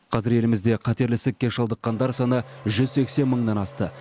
қазір елімізде қатерлік ісікке шалдыққандар саны жүз сексен мыңнан асты